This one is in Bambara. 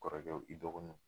Kɔrɔkɛw i dɔgɔninw